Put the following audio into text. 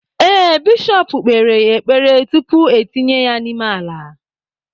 Ee, bishọp kpere ya ekpere, tupu etinye ya n’ime ala